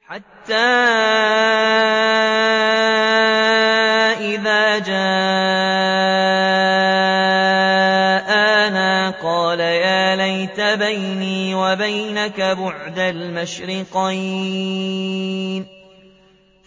حَتَّىٰ إِذَا جَاءَنَا قَالَ يَا لَيْتَ بَيْنِي وَبَيْنَكَ بُعْدَ الْمَشْرِقَيْنِ